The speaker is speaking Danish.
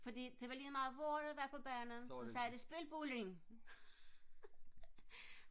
fordi det var ligemeget hvor de var på banen så sagde de spil bulling